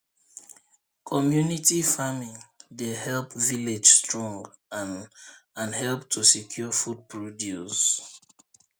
community farming dey help village strong and and help to secure food produce